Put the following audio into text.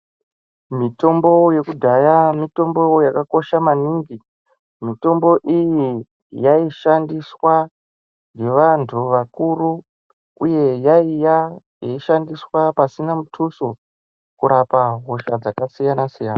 Mitombo yekudhaya mitombo yaka kosha maningi mitombo iyi yaishandiswa nge vandu vakuru uye yaiya yeishandiswa pasina mutuso kurapa hosha dzaka siyana siyana.